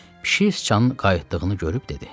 Pişik sıçanın qayıtdığını görüb dedi: